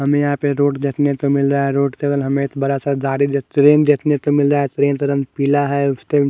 हमे यहा पे रोड देखने को मिल रहा है रोड केवल हमे एक बड़ा सा गार्डन जेसे ट्रेन देखने के मिल रहा है ट्रेन का रंग पिला है उसके--